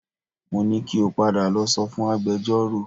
Mo ní kí o padà lọ sọ fún agbẹjọ́rò